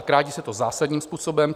A krátí se to zásadním způsobem.